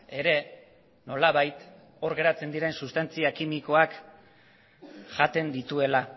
ere nolabait hor geratzen diren sustantzia kimikoak jaten dituela